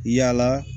Yala